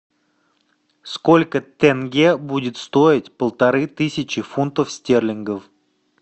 сколько тенге будет стоить полторы тысячи фунтов стерлингов